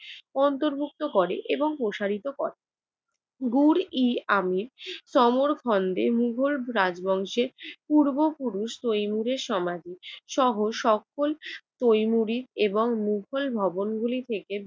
অন্তর্ভুক্ত করে এবং প্রসারিত করে। গোর-ই-আমি সমরখন্ডে মোগল রাজবংশে পূর্বপুরুষ তৈমুরের সমাধিসহ সকল তৈমুরি এবং মোগল ভবনগুলি থেকে